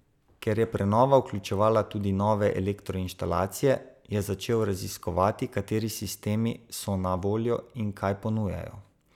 Ker je prenova vključevala tudi nove elektroinštalacije, je začel raziskovati, kateri sistemi so na voljo in kaj ponujajo.